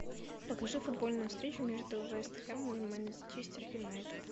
покажи футбольную встречу между вест хэмом и манчестер юнайтед